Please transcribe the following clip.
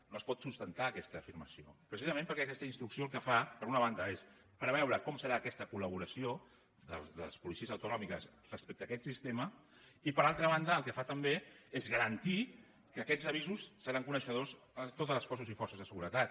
no es pot sustentar aquesta afirmació precisament perquè aquesta instrucció el que fa per una banda és preveure com serà aquesta colnòmiques respecte a aquest sistema i per altra banda el que fa també és garantir que d’aquests avisos seran coneixedors totes les forces i cossos de seguretat